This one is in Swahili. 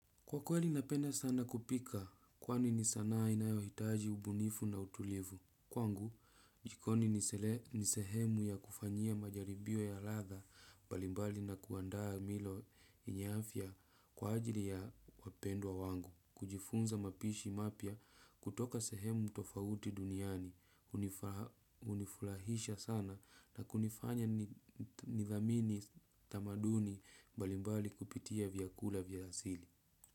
Kwa kweli napenda sana kupika, kwani ni sanaa inayohitaji ubunifu na utulivu. Kwangu, jikoni ni sehemu ya kufanyia majaribio ya ladha mbalimbali na kuandaa milo yenye afya kwa ajili ya wapendwa wangu. Kujifunza mapishi mapya kutoka sehemu tofauti duniani, hunifurahisha sana na kunifanya nithamini tamaduni mbalimbali kupitia vyakula vya asili.